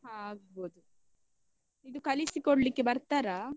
ಹ ಆಗ್ಬೋದು ಕಲಿಸಿಕೊಡ್ಲಿಕ್ಕೆ ಬರ್ತಾರಾ?